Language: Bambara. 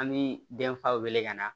An bi denfa wele ka na